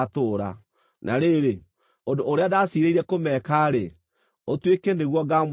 Na rĩrĩ, ũndũ ũrĩa ndaciirĩire kũmeka-rĩ, ũtuĩke nĩguo ngaamwĩka inyuĩ.’ ”